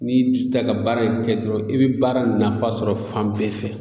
N'i y'i jija ka baara in kɛ dɔrɔn i bi baara nafa sɔrɔ fan bɛɛ fɛ